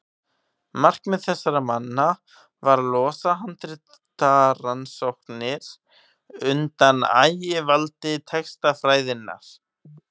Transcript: markmið þessara manna var að losa handritarannsóknir undan ægivaldi textafræðinnar